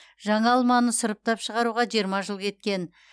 жаңа алманы сұрыптап шығаруға жиырма жыл кеткен